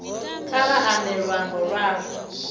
kha vha ambe luambo lwavho